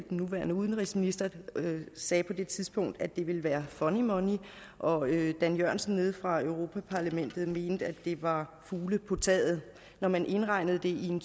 nuværende udenrigsminister sagde på det tidspunkt at det ville være funny money og dan jørgensen nede fra europa parlamentet mente at det var fugle på taget når man indregnede det i en